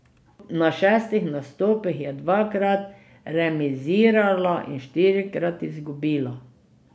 Na šestih nastopih je dvakrat remizirala in štirikrat izgubila.